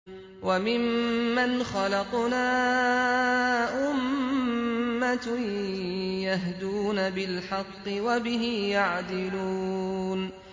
وَمِمَّنْ خَلَقْنَا أُمَّةٌ يَهْدُونَ بِالْحَقِّ وَبِهِ يَعْدِلُونَ